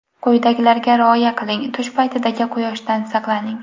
Quyidagilarga rioya qiling: Tush paytidagi quyoshdan saqlaning.